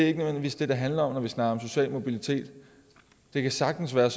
ikke nødvendigvis det det handler om når vi snakker om social mobilitet det kan sagtens være